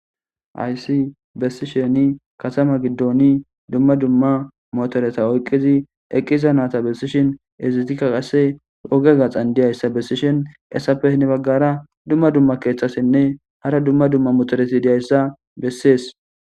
aysi bessisheni katama giddoni dumma dumma motoreta oyqqizi eqqiza naata bessishin ezitika qasse oge gaxan diyayssa bessishin essafehne baggara dumma dumma keeththasinne hara dumma dumma motoreti diyayssa bessees